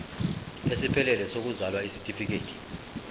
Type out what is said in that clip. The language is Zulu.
esiphelele sokuzalwa isitifikedi